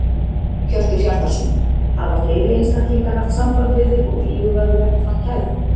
Hjörtur Hjartarson: Hafa fleiri einstaklingar haft samband við þig og íhugað að leggja fram kæru?